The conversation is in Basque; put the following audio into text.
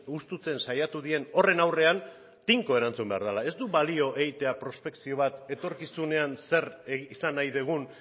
husten saiatu diren horien aurrean tinko erantzun behar dela ez du balio prospekzio bat egitea etorkizunean zer izan nahi dugun